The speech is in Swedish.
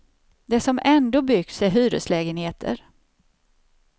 Det som ändå byggts är hyreslägenheter.